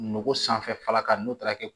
Nogo sanfɛla kan n'o taara kɛ